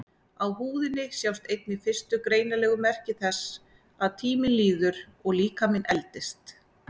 Á húðinni sjást einnig fyrstu greinanlegu merki þess að tíminn líður og líkaminn eldist.